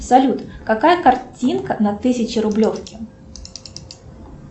салют какая картинка на тысячарублевке